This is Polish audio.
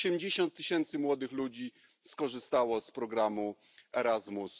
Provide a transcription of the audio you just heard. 80 tysięcy młodych ludzi skorzystało z programu Erasmus.